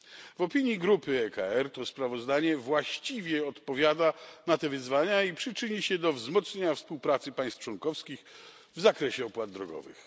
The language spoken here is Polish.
W opinii grupy ECR to sprawozdanie właściwie odpowiada na te wyzwania i przyczyni się do wzmocnienia współpracy państw członkowskich w zakresie opłat drogowych.